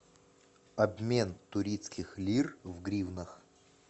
обмен турецких лир в гривнах